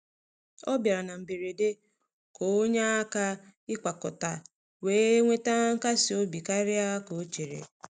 Ọ bịara na mberede ka ọ nyee aka ịkwakọta, wee weta nkasi obi karịa ka ọ chere.